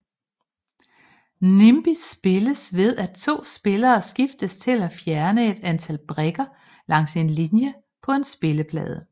Nimbi spilles ved at to spillere skiftes til fjerne et antal brikker langs en linje på en spilleplade